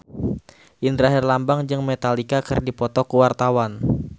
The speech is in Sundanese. Indra Herlambang jeung Metallica keur dipoto ku wartawan